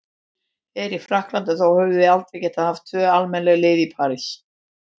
En í Frakklandi, þá höfum við aldrei getað haft tvö almennileg lið í París.